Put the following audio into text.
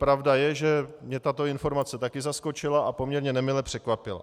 Pravda je, že mě tato informace také zaskočila a poměrně nemile překvapila.